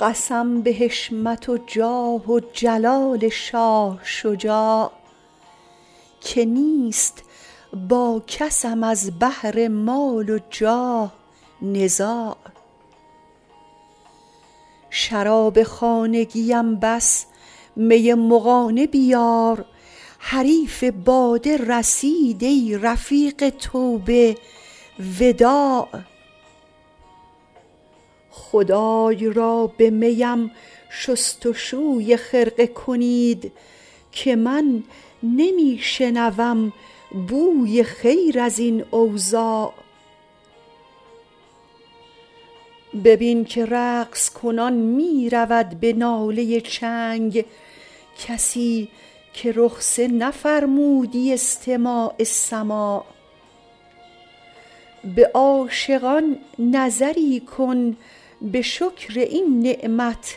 قسم به حشمت و جاه و جلال شاه شجاع که نیست با کسم از بهر مال و جاه نزاع شراب خانگیم بس می مغانه بیار حریف باده رسید ای رفیق توبه وداع خدای را به می ام شست و شوی خرقه کنید که من نمی شنوم بوی خیر از این اوضاع ببین که رقص کنان می رود به ناله چنگ کسی که رخصه نفرمودی استماع سماع به عاشقان نظری کن به شکر این نعمت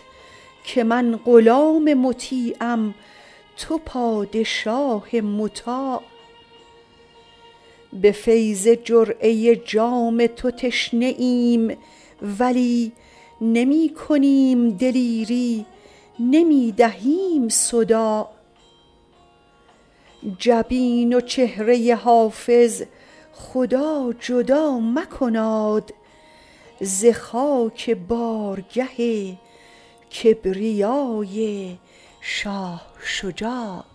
که من غلام مطیعم تو پادشاه مطاع به فیض جرعه جام تو تشنه ایم ولی نمی کنیم دلیری نمی دهیم صداع جبین و چهره حافظ خدا جدا مکناد ز خاک بارگه کبریای شاه شجاع